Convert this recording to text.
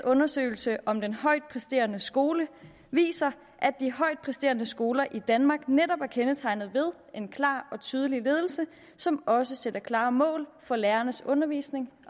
undersøgelse om den højt præsterende skole viser at de højt præsterende skoler i danmark netop er kendetegnet ved en klar og tydelig ledelse som også sætter klare mål for lærernes undervisning